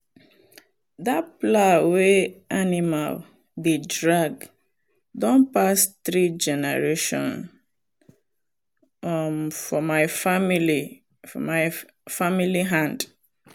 that plow wey animal dey drag don pass three generation um for my family for my family hand.